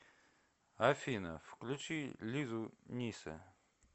афина включи лизу нисе